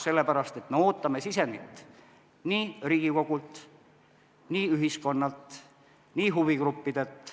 Sellepärast, et me ootame sisendit nii Riigikogult, ühiskonnalt kui ka huvigruppidelt.